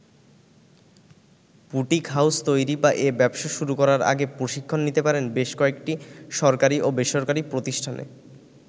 Boutique house তৈরি বা এ ব্যবসা শুরু করার আগে প্রশিক্ষণ নিতে পারেন বেশ কয়েকটি সরকারি ও বেসরকারি প্রতিষ্ঠানে।